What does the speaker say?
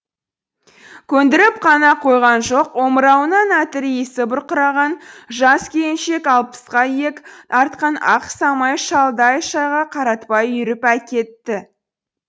көндіріп қана қойған жоқ омырауынан әтір иісі бұрқыраған жас келіншек алпысқа иек артқан ақ самай шалды ай шайға қаратпай үйіріп әкетті